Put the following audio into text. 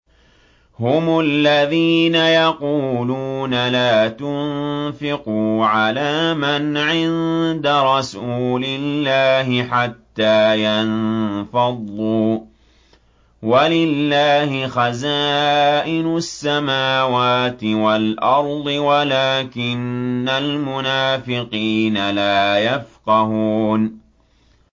هُمُ الَّذِينَ يَقُولُونَ لَا تُنفِقُوا عَلَىٰ مَنْ عِندَ رَسُولِ اللَّهِ حَتَّىٰ يَنفَضُّوا ۗ وَلِلَّهِ خَزَائِنُ السَّمَاوَاتِ وَالْأَرْضِ وَلَٰكِنَّ الْمُنَافِقِينَ لَا يَفْقَهُونَ